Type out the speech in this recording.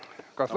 Kas, Lauri, sina?